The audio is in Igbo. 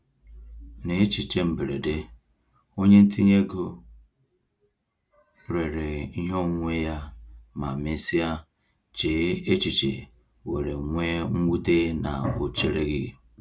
N’echiche mberede, onye ntinye ego rere ihe onwunwe ya ma mesịa chee echiche were nwee mwute na ọ chereghị.